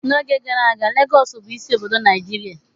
N'oge gara aga, Lagọọsù bụ isi obodo Nigeria